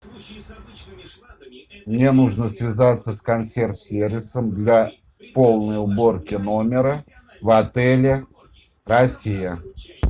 мне нужно связаться с консьерж сервисом для полной уборки номера в отеле россия